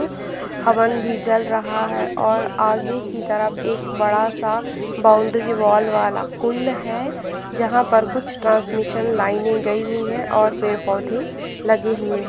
हवन भी जल रहा हैं और आगे की तरफ एक बड़ा सा बाउंड्री वाल वाला कुंड है जहाँ पर कुछ ट्रांसमिशन लाइने गई हुई है और पेड़-पौधे लगे हुए है।